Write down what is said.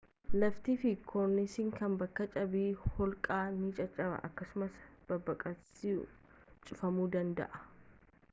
laftii fi korniisni kan bakka cabbii holqaa ni caccaba akkasumas babbaqiinsisaa cufamuu danda'a